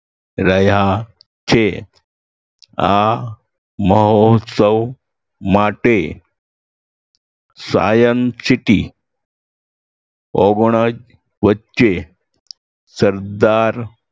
રહ્યા છે આ મહોત્સવ માટે સાયન્સ સિટી ઓગણજ વચ્ચે સરદાર